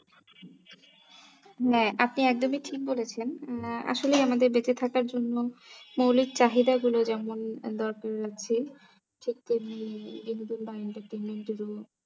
নে আপনি একদমই ঠিক বলেছেন আসলে আমাদের বেঁচে থাকার জন্য মনের মৌলিক চাহিদাগুলো যেমনদরকার আছে